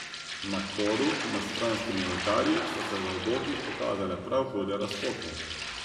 Na koru, nad stranskimi oltarji, so se v obokih pokazale prav hude razpoke.